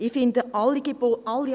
Ich finde alle Angebote gut.